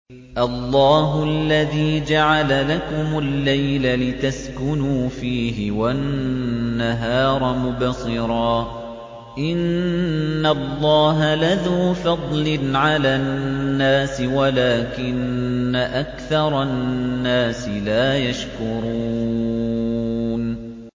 اللَّهُ الَّذِي جَعَلَ لَكُمُ اللَّيْلَ لِتَسْكُنُوا فِيهِ وَالنَّهَارَ مُبْصِرًا ۚ إِنَّ اللَّهَ لَذُو فَضْلٍ عَلَى النَّاسِ وَلَٰكِنَّ أَكْثَرَ النَّاسِ لَا يَشْكُرُونَ